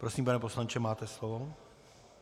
Prosím, pane poslanče, máte slovo.